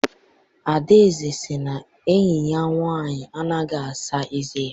Adaeze sị na enyi ya nwaanyị anaghị asa eze ya.